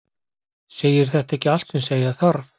Segir þetta ekki allt sem segja þarf?